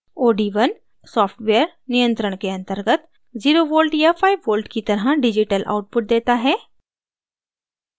od1 software नियंत्रण के अंतर्गत 0v या 5v की तरह digital output देता है